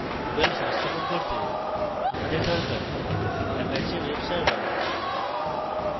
moodle সংস্থাপন করতে আমাদের দরকার: apache webserver